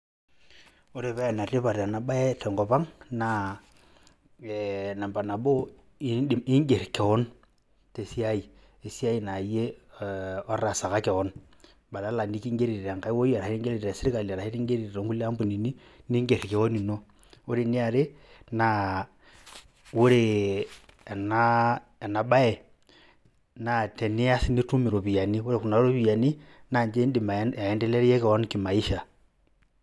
Ore pee enetipat ena baye tenkop ang' naa ee namba nabo ing'er keon tesiai esiai naa iye otaasaka keon badala neking'eri tenkai wuei arashu neking'eri te sirkali arashu neking'eri too nkulie ambunini ning'er keon ino. Ore eni are naa ore ena baye naa tenias nitum iropiani, ore kuna ropiani naake indim aendeleaye keon kimaisha.